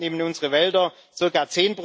Insgesamt nehmen unsere Wälder